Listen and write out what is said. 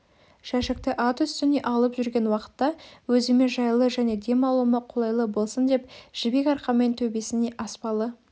жәшікті ат үстіне алып жүрген уақытта өзіме жайлы және дем алуыма қолайлы болсын деп жібек арқанмен төбесіне аспалы